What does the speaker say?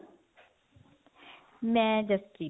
ਮੈਂ ਜਸਪ੍ਰੀਤ